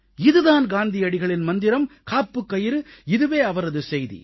இது தான் காந்தியடிகளின் மந்திரம் காப்புக்கயிறு இதுவே அவரது செய்தி